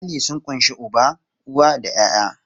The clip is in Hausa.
Iyali sun ƙunshi uba, uwa da ƴaƴa.